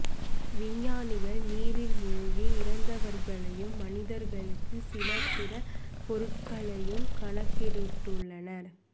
விஞ்ஞானிகள் நீரில் மூழ்கி இறந்தவர்களையும் மனிதர்களுக்கு சில பிற பொருட்களையும் கணக்கிட்டுள்ளனர்